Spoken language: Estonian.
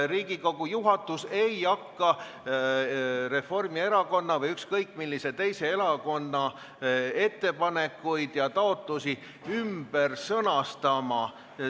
Riigikogu juhatus ei hakka Reformierakonna või ükskõik millise teise erakonna ettepanekuid ja taotlusi ümber sõnastama.